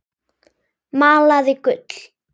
Malaði gull.